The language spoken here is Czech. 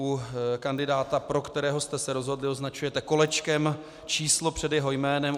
U kandidáta, pro kterého jste se rozhodli, označujete kolečkem číslo před jeho jménem.